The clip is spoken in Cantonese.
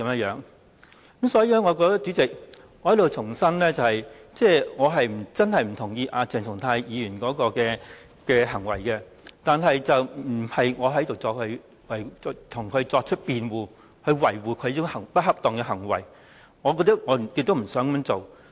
因此，主席，我想在此重申，我並不認同鄭松泰議員的行為，我亦並非要在這裏為他辯護、維護他這種不恰當的行為，我是不想這樣做的。